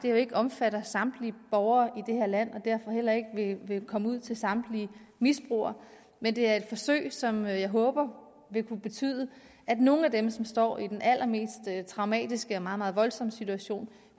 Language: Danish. jo ikke omfatter samtlige borgere land og derfor heller ikke vil komme ud til samtlige misbrugere men det er et forsøg som jeg håber vil kunne betyde at nogle af dem som står i den allermest traumatiske og meget meget voldsom situation